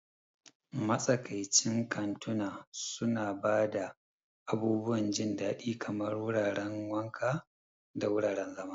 Matsakaicin kantuna suna ba da abubuwan jin daɗi kamar wuraren wanka da wuraren zama.